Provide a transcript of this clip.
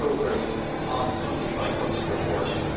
made progress on country by country reporting.